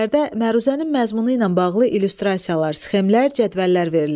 Əlavələrdə məruzənin məzmunu ilə bağlı illüstrasiyalar, sxemlər, cədvəllər verilir.